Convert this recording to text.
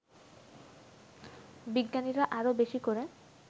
বিজ্ঞানীরা আরও বেশি করে